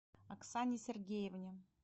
оксане сергеевне